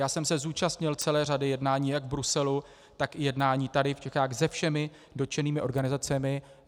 Já jsem se zúčastnil celé řady jednání jak v Bruselu, tak i jednání tady v Čechách se všemi dotčenými organizacemi.